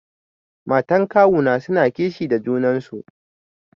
Matan kawuna suna kishi da junan su.